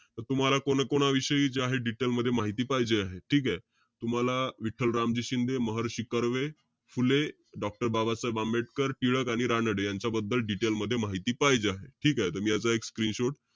आता तुम्हाला कोणाकोणाविषयी जे आहे detail मध्ये माहिती पाहिजे आहे. ठीके? तुम्हाला विठ्ठल रामजी शिंदे, महर्षी कर्वे, फुले, doctor बाबासाहेब आंबेडकर, टिळक आणि रानडे यांच्याबद्दल detail मध्ये माहिती पाहिजे आहे. ठीकेय. तुमची याचा एक screenshot,